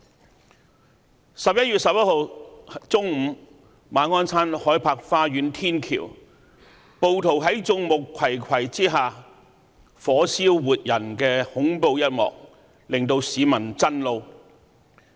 11月11日中午，暴徒在眾目睽睽之下，在馬鞍山海柏花園天橋火燒活人的恐怖一幕，令市民震怒。